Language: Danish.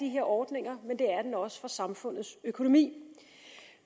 her ordninger men det er den også for samfundets økonomi